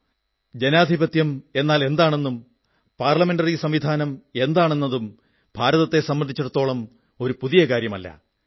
ഗണതന്ത്രം അതായത് ജനാധിപത്യം എന്നാലെന്താണെന്നതും സംസദീയ വ്യവസ്ഥ പാർലമെന്ററി സംവിധാനം എന്താണ് എന്നതും ഭാരതത്തെ സംബന്ധിച്ചിടത്തോളം പുതിയ കാര്യമല്ല